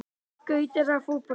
Skautar eða fótbolti?